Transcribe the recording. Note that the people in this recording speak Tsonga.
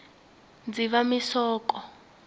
dzivamisoko